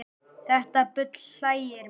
Þetta bull hlægir mig